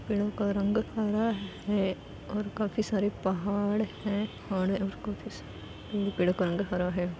पेड़ों का रंग हरा ह है और काफी सारे पहाड़ है पेड़ों का रंग हरा है।